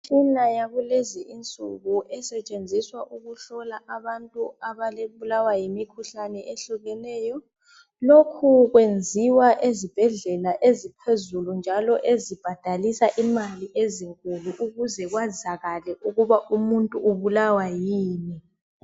Imtshina yakulezi insuku esetshenziswa ukuhlola abantu ababulawa yimikhuhlane ehlukeneyo lokhu kwenziwa ezibhedlela eziphezulu njalo ezibhadalisa imali ezinkulu ukuze kwazakale ukuba umuntu ubulawa yini.